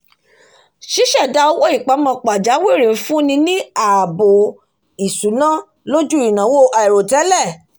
ṣíṣẹ̀dá owó ìpamọ́ pajawìrì ń fúnni ní ààbò ìṣúná lójú ìnawo àìròtẹ́lẹ̀